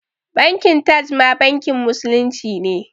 Bankin Taj ma bankin musulunci ne